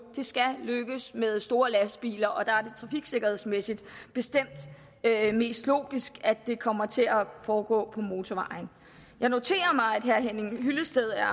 det skal lykkes med store lastbiler er trafiksikkerhedsmæssigt bestemt mest logisk at det kommer til at foregå på motorvejen jeg noterer mig at herre henning hyllested er